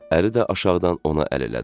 Əri də aşağıdan ona əl elədi.